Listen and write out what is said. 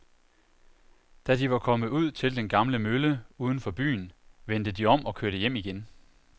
Da de var kommet ud til den gamle mølle uden for byen, vendte de om og kørte hjem igen.